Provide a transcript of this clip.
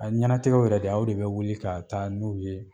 A ɲɛnatigɛw yɛrɛ dɛ, aw de bɛ wuli ka taa n'u ye